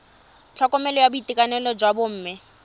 tlhokomelo ya boitekanelo jwa bomme